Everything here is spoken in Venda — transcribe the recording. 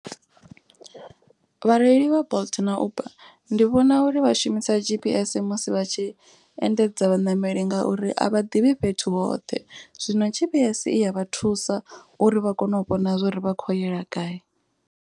Vhareili vha bolt na uber ndi vhona uri vha shumisa G_P_S musi vha tshi endedza vhaṋameli. Ngauri a vha ḓivhi fhethu hoṱhe. Zwino G_P_S i ya vha thusa uri vha kone u vhona zwori vha kho yela gayi.